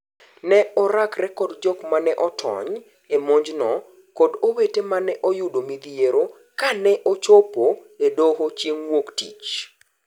Ne orakre kod jok maneotony e monj no kod owete mane oyudo midhiero kane ochopo e doho chieng' wuok tich.